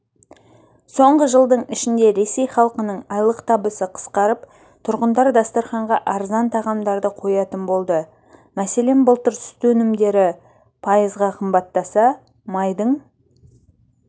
соңғы жылдың ішінде ресей халқының айлық табысы қысқарып тұрғындар дастарханға арзан тағамдарды қоятын болды мәселен былтыр сүт өнімдері пайызға қымбаттаса майдың